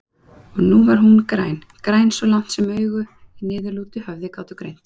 Og nú var hún græn, græn svo langt sem augu í niðurlútu höfði gátu greint.